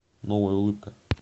новая улыбка